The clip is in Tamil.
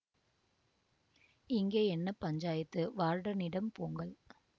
இங்கே என்ன பஞ்சாயத்து வார்டனிடம் போங்கள்